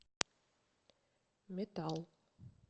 метал